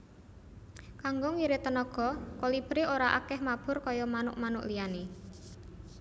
Kanggo ngirit tenaga Kolibri ora akèh mabur kaya manuk manuk liyané